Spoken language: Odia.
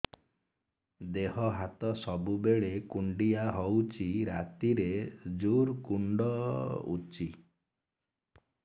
ଦେହ ହାତ ସବୁବେଳେ କୁଣ୍ଡିଆ ହଉଚି ରାତିରେ ଜୁର୍ କୁଣ୍ଡଉଚି